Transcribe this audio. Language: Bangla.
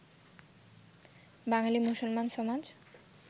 বাঙালী মুসলমান সমাজ